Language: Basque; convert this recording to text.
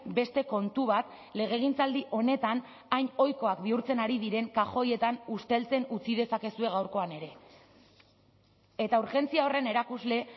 beste kontu bat legegintzaldi honetan hain ohikoak bihurtzen ari diren kajoietan usteltzen utzi dezakezue gaurkoan ere eta urgentzia horren erakusle